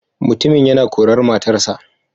Mutumin yana korar matarsa.